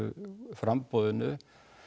framboðinu